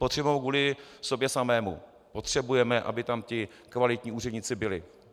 Potřebujeme ho kvůli sobě samým, potřebujeme, aby tam ti kvalitní úředníci byli.